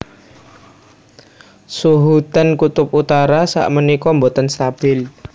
Suhu ten kutub utara sak menika mboten stabil